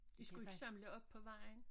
I skulle ikke samle op på vejen?